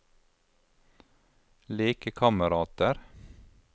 lekekamerater